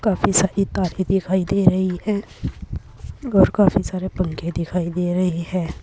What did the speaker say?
काफी सारी तारें दिखाई दे रही है और काफी सारे पंखे दिखाई दे रही है।